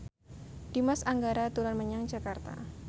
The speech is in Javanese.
Dimas Anggara dolan menyang Jakarta